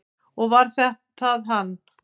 Og var það hann?